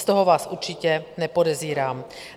Z toho vás určitě nepodezírám.